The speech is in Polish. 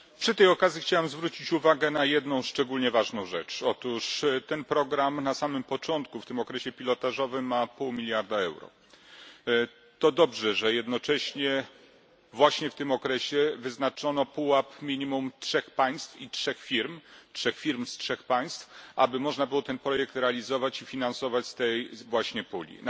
Panie Przewodniczący! Przy tej okazji chciałbym zwrócić uwagę na jedną szczególnie ważną rzecz. Otóż program ten na samym początku, w okresie pilotażowym, ma pół miliarda euro. To dobrze, że jednocześnie właśnie w tym okresie wyznaczono pułap minimum trzech państw i trzech firm trzech firm z trzech państw, aby można było ten projekt realizować i finansować z tej właśnie puli.